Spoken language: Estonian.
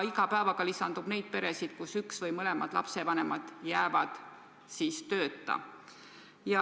Iga päevaga lisandub peresid, kus üks või mõlemad lapsevanemad jäävad tööta.